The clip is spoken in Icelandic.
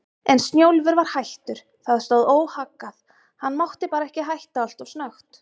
En Snjólfur var hættur, það stóð óhaggað, hann mátti bara ekki hætta alltof snöggt.